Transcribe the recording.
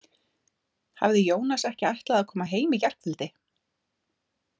Hafði Jónas ekki ætlað að koma heim í gærkvöldi?